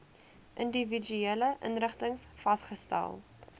individuele inrigtings vasgestel